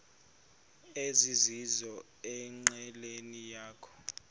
ezizizo enqileni yakho